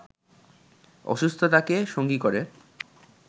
অসুস্থতাকে সঙ্গী করে